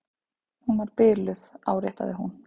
Hún var biluð, áréttaði hún.